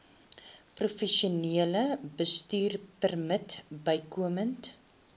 professionele bestuurpermit bykomend